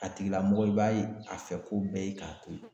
A tigilamɔgɔ i b'a ye a fɛ ko bɛɛ ye k'a to ye.